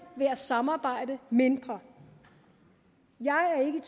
ved at samarbejde mindre jeg er ikke